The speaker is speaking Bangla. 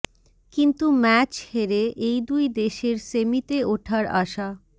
কিন্তু ম্যাচ হেরে এই দুই দেশের সেমিতে ওঠার আশা